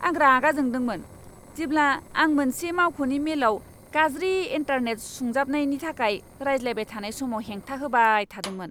आं रागा जोंदोंमोन जेब्ला आं मोनसे मावख'नि मेलाव गाज्रि इन्टारनेट सुंजाबनायनि थाखाय रायज्लायबाय थानाय समाव हेंथा होबाय थादोंमोन।